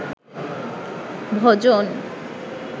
ভজন